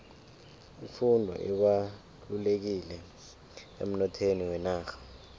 ifundo ibalulekile emnothweni wenarha